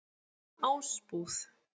Ásbúð